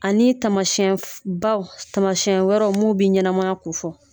Ani taamasiyɛn f baw taamasiyɛn wɛrɛw mun bi ɲɛnamaya kofɔ.